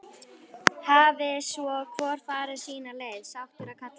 Hafi svo hvor farið sína leið, sáttur að kalla.